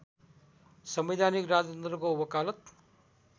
संवैधानिक राजतन्त्रको वकालत